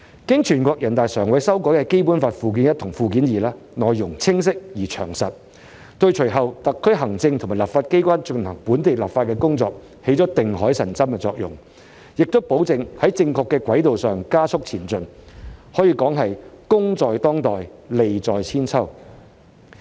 經全國人大常委會修改的《基本法》附件一和附件二，內容清晰而詳實，對隨後特區行政及立法機關進行本地立法工作，起到定海神針的作用，亦保證在正確的軌道上加速前進，可以說是功在當代，利在千秋。